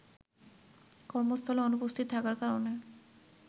কর্মস্থলে অনুপস্থিত থাকার কারণে